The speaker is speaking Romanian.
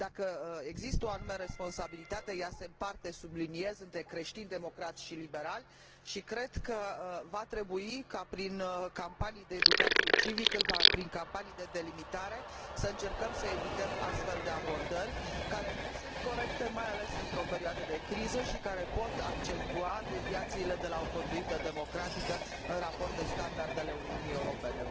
Dacă există o anume responsabilitate, ea se împarte, subliniez, între creștin democrați și liberali și cred că va trebui ca, prin campanii de educație civică, prin campanii de delimitare, să încercăm să evităm astfel de abordări care nu sunt corecte, mai ales într o perioadă de criză și care pot accentua deviațiile de la o conduită democratică în raport cu standardele Uniunii Europene.